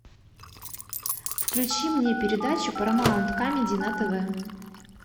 включи мне передачу парамаунт камеди на тв